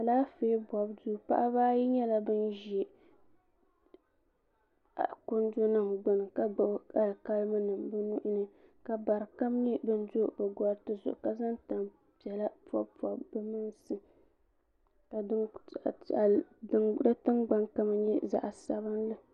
Alaafee bobu shee paɣaba ayi nyɛla bin ʒi kundi nim gbuni ka gbubi alikalimi nim bi nuhini ka bari kam nyɛ bin do bi gariti zuɣu ka zaŋ tani piɛla pobi pobi bi mansi ka doo piɛɣa piɛli din dingbuni kama nyɛ zaɣ sabinli